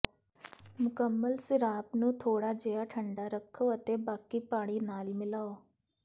ਮੁਕੰਮਲ ਸਿਾਰਾਪ ਨੂੰ ਥੋੜਾ ਜਿਹਾ ਠੰਡਾ ਰੱਖੋ ਅਤੇ ਬਾਕੀ ਪਾਣੀ ਨਾਲ ਮਿਲਾਓ